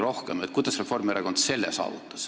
Rääkige, kuidas Reformierakond on selle saavutanud.